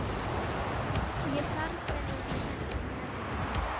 Ég þarf þeirra ekki með núna.